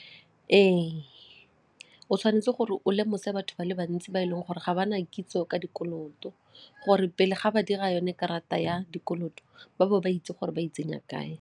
Ee, o tshwanetse gore o lemose batho ba le bantsi ba e leng gore ga ba na kitso ka dikoloto gore pele ga ba dira yone karata ya dikoloto ba bo ba itse gore ba itsenya kae.